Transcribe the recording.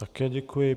Také děkuji.